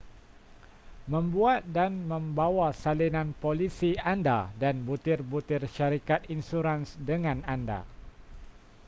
membuat dan membawa salinan polisi anda dan butir-butir syarikat insurans dengan anda